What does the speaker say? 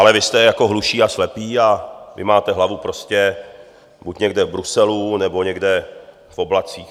Ale vy jste jako hluší a slepí a vy máte hlavu prostě buď někde v Bruselu, nebo někde v oblacích.